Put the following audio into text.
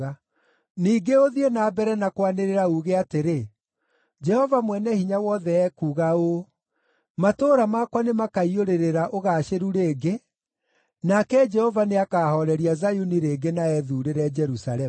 “Ningĩ ũthiĩ na mbere na kwanĩrĩra uuge atĩrĩ: Jehova Mwene-Hinya-Wothe ekuuga ũũ, ‘Matũũra makwa nĩmakaiyũrĩrĩra ũgaacĩru rĩngĩ, nake Jehova nĩakahooreria Zayuni rĩngĩ na ethuurĩre Jerusalemu.’ ”